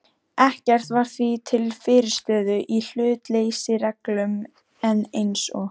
Ekkert var því til fyrirstöðu í hlutleysisreglum, en eins og